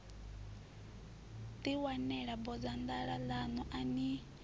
ḓiwanela bodzanḓala ḽaṋu a ni